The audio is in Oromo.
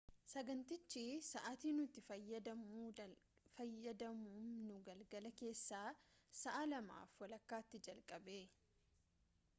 sagantichi sa’aati nuti fayyadamnu galgala keessaa 8:30 tti jalqabe 15.00 utc